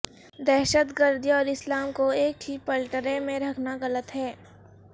دہشت گردی اور اسلام کو ایک ہی پلڑے میں رکھنا غلط ہے